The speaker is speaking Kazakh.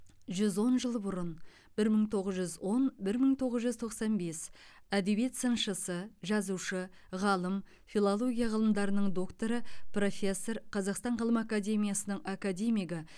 жүз он жыл бұрын бір мың тоғыз жүз он бір мың тоғыз жүз тоқсан бес әдебиет сыншысы жазушы ғалым филология ғылымының докторы профессор қазақстан ғылым академиясының академигі